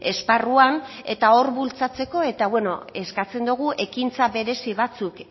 esparruan eta hor bultzatzeko eta beno eskatzen dogu ekintza berezi batzuk